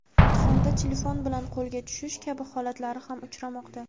imtihonda telefon bilan qo‘lga tushish kabi holatlari ham uchramoqda.